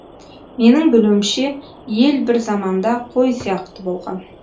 менің білуімше ел бір заманда қой сияқты болған